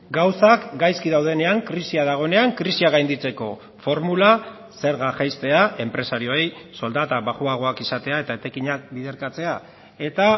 gauzak gaizki daudenean krisia dagoenean krisia gainditzeko formula zerga jaistea enpresarioei soldata baxuagoak izatea eta etekinak biderkatzea eta